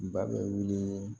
Ba bɛ wuli